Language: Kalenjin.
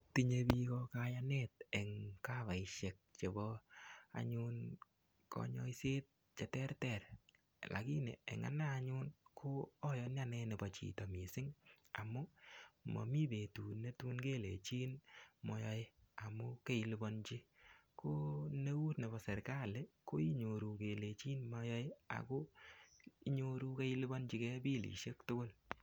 Tinye piko kayanet eng' kavaishek chepo anyun kanyoiset cheterter lakini eng' anee anyun ko ayani nepo chito mising' amun mami petut netun kelechin mayoe amun keilipanji ko neu nepo serikali koinyoru kelechin mayoe ako inyoru keilipanjigei bilisiek tugul.